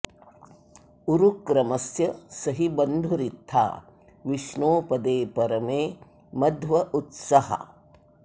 उरुक्रमस्य स हि बन्धुरित्था विष्णोः पदे परमे मध्व उत्सः